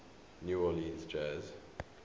new orleans jazz